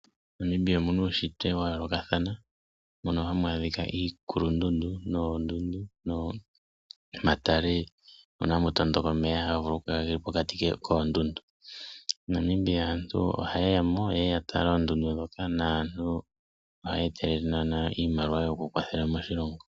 MoNamibia omu na uunshitwe wa yoolokathana. Ohamu adhika iikulundundu noondundu nomatale moka hamu tondoka omeya ngoka haga kala ge li pokati koondundu. MoNamibia aantu ohaye ya mo ye ye ya tale oondundu ndhoka naantu ohaya etelele iimaliwa yokukwathela moshilongo.